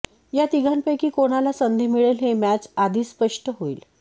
या तिघांपैकी कोणाला संधी मिळेल हे मॅच आधीच स्पष्ट होईल